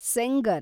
Sengar